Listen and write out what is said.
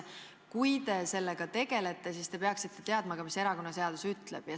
Kui te sellega tegelete, siis te peaksite ka teadma, mis erakonnaseadus ütleb.